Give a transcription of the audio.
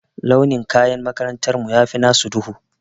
Launi na kayan makarantar mu ya fi nasu duhu.